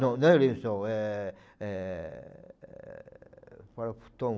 Não, não é lençol, é é qual é o futon.